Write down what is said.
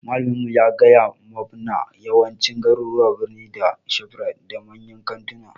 Malamin mu ya gaya mabna yawancin garuruwan birni na da shofrite da manyan kanttuna